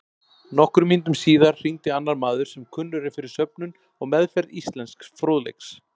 Nokkrum mínútum síðar hringdi annar maður sem kunnur er fyrir söfnun og meðferð íslensks fróðleiks.